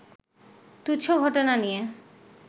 তুচ্ছ ঘটনা নিয়ে